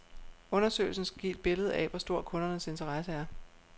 Undersøgelsen skal give et billede af, hvor stor kundernes interesse er.